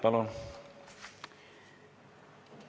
Palun!